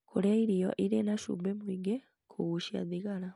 Kũrĩa irio irĩ na cumbĩ mũingĩ, kũgucia thigara,